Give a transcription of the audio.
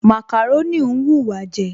Màkàrónì ń wùwá jẹ